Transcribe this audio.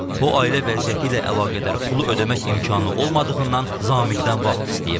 O ailə vəziyyəti ilə əlaqədar pulu ödəmək imkanı olmadığından Zamiqdən vaxt istəyib.